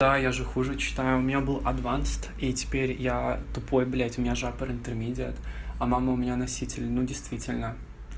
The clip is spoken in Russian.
да я же хуже читаю у меня был адвансет и теперь я тупой блядь у меня же аппер интермедиат а мама у меня носитель ну действительно